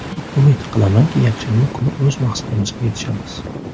Umid qilamanki, yakshanba kuni o‘z maqsadimizga yetishamiz.